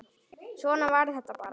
Svona var þetta bara.